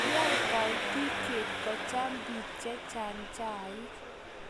kiyai kaititye kocham biik chechang' chaik